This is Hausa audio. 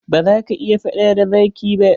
Ba za ak iya faɗ da zaki ba.